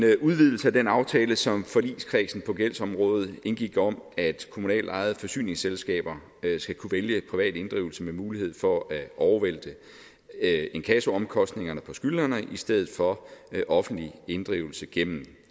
udvidelse af den aftale som forligskredsen på gældsområdet indgik om at kommunalt ejede forsyningsselskaber skal kunne vælge privat inddrivelse med mulighed for at inkassoomkostningerne hos skyldnerne i stedet for offentlig inddrivelse gennem